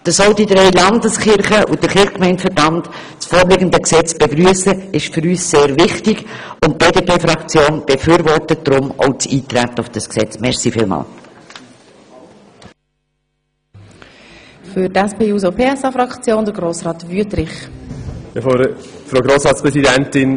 Dass auch die drei Landeskirchen und der Kirchgemeindeverband das vorliegende Gesetz begrüssen, ist für uns sehr wichtig, und die BDPFraktion befürwortet deshalb auch das Eintreten auf dieses Gesetz.